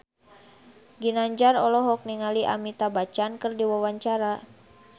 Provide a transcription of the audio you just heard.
Ginanjar olohok ningali Amitabh Bachchan keur diwawancara